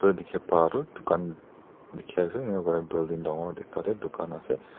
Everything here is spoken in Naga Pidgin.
dikhipa toh dukan dikhi asa enika kurina building dangor ekta tae dukan asa.